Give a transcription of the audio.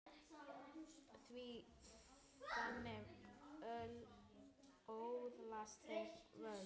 Því þannig öðlast þeir völd.